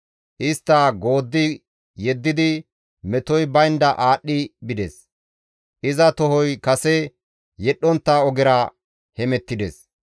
Istta gooddi yeddidi metoy baynda aadhdhi bides; iza tohoy kase yedhdhontta ogera hemettides;